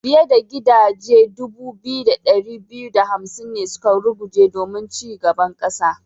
Fiyar da gidaje dubu biyu da dari biyu da hamsin ne suka ruguje domin ci gaban kasa.